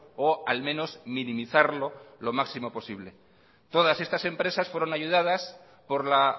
o al menos minimizarlo lo máximo posible todas estas empresas fueron ayudadas por la